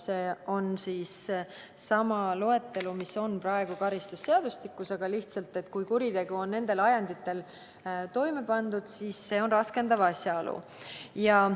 See on sama loetelu, mis on praegugi karistusseadustikus, aga mõte on lihtsalt selles, et kui kuritegu on nendel ajenditel toime pandud, siis on tegemist raskendava asjaoluga.